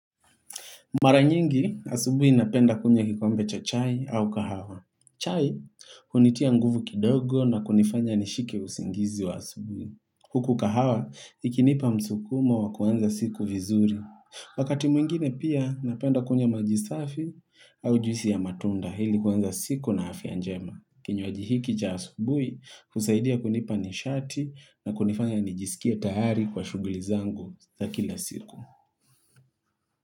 Mara nyingi, asubui napenda kunywa kikombe cha chai au kahawa. Chai, hunitia nguvu kidogo na kunifanya nishike usingizi wa asubui. Huku kahawa, ikinipa msukumo wa kuanza siku vizuri. Wakati mwingine pia napenda kunywa maji safi au juisi ya matunda hili kuanza siku na afya njema. Kinywaji hiki cha asubui, husaidia kunipa nishati na kunifanya nijisikie tayari kwa shuguli zangu za kila siku.